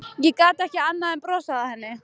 Ég gat ekki annað en brosað að henni.